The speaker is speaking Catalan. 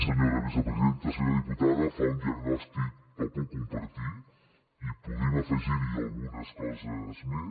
senyora diputada fa un diagnòstic que puc compartir i podríem afegir hi algunes coses més